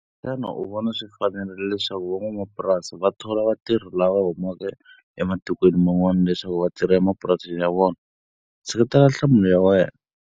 Xana u swi vona swi fanelerile leswaku va n'wamapurasi va thola vatirhi lava humaka ematikweni man'wana leswaku va tirha emapurasini ya vona? Seketela nhlamulo ya wena.